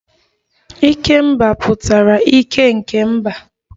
Ikemba pụtara ike nke mba